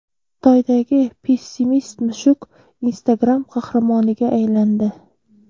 Xitoydagi pessimist-mushuk Instagram qahramoniga aylandi.